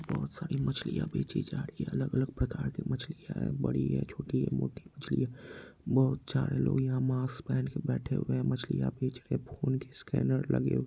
बहुत सारी मछलियां बेची जा रही है अलग अलग प्रकार के मछलियां है बड़ी है छोटी है मोटी मछलियां बहुत सारे लोग यहां मास्क पहन कर बैठे हुए है मछलियां बेच रहे है फोन के स्कैनर लगे हुए--